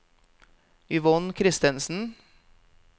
Yvonne Christensen